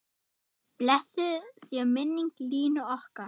Blessuð sé minning Línu okkar.